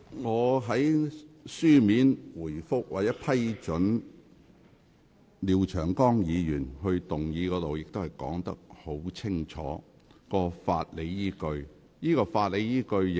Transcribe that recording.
我在書面回覆中，已說明了我批准廖長江議員動議擬議決議案的法理依據。